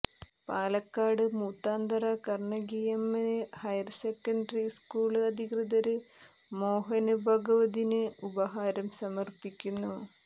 Palakkad Moothanthara Kannakiamman higher secondary school അധികൃതര് മോഹന് ഭാഗവതിന് ഉപഹാരം സമര്പ്പിക്കുന്നു